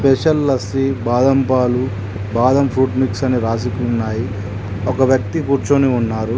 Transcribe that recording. Special lassi బాదంపాలు బాదం fruit mix అని రాసి ఉన్నాయి ఒక వ్యక్తి కూర్చొని ఉన్నారు.